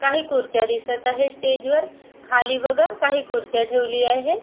काही खुर्च्या दिसत आहे स्टेज वर खाली बघा काही खुर्च्या ठेवली आहे.